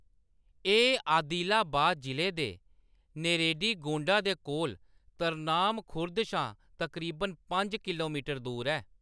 एह्‌‌ आदिलाबाद जिले दे नेरेडीगोंडा दे कोल तरनाम खुर्द शा तकरीबन पंज किलो मीटर दूर ऐ।